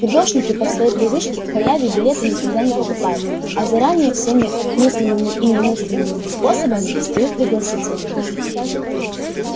фидошники по своей привычке к халяве билеты никогда не покупают а заранее всеми мыслимыми и немыслимыми способами достают пригласительные